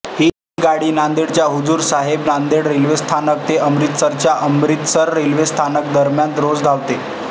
ही गाडी नांदेडच्या हुजूर साहेब नांदेड रेल्वे स्थानक ते अमृतसरच्या अमृतसर रेल्वे स्थानकांदरम्यान रोज धावते